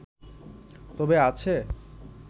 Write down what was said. তবে আছে